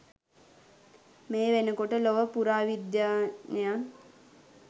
මේ වෙනකොට ලොව පුරා විද්‍යාඥයන්